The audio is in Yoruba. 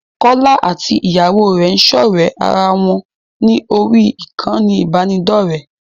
Kọ́lá àti Ìyàwó rẹ̀ ń ṣọ̀ré ara wọn ní orí ìkànnì ìbánidọ́rẹ̀ẹ́.